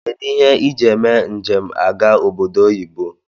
Kedu ihe iji eme njem aga oboddo oyibo?